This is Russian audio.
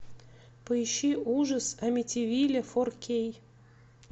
поищи ужас амитивилля фор кей